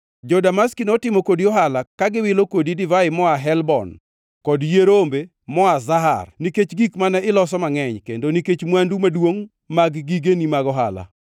“ ‘Jo-Damaski notimo kodi ohala, ka giwilo kodi divai moa Helbon kod yie rombe moa Zahar nikech gik mane iloso mangʼeny, kendo nikech mwandu maduongʼ mag gigeni mag ohala.